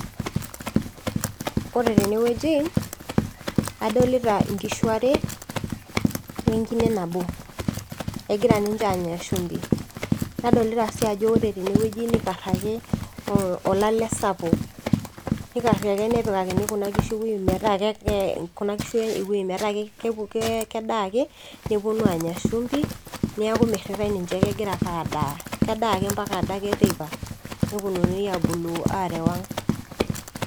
koree tenewueji kaadolita inkishuu aree wee nkine naboo kegiraa ninche anyaa shumbii naadolita sii ajo koree tenewueji nikaraki olale sapuk nikarii nepikakini kuna kishuu ewue metaa kedaa akee nepunuu aanya shumbii niakuu miritai ninche kedaa akee mpaka adake teipa neponunui areuu aaang.